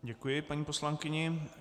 Děkuji paní poslankyni.